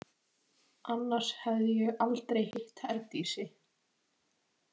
Annars hefði ég aldrei hitt Herdísi.